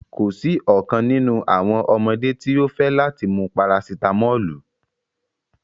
Ko si ọkan ninu awọn ọmọde ti o fẹ lati mu parasitámọ́lù